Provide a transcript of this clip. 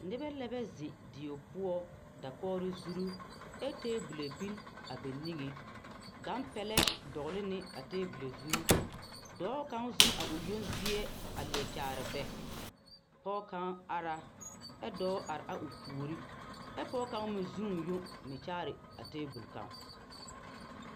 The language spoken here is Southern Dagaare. Nebɛ lɛbɛ ziŋ die poɔ dakori zuru ɛ tebole biŋ ba niŋe gan pɛlɛ dogli ne a tebole zu dɔɔ kaŋ zeni o yoŋ zie a leɛ kyaare bɛ pɔge kaŋ ara ɛ dɔɔ are a o puori ɛ pɔge kaŋ mi ze o yoŋ mi kyaare a tebol kaŋ.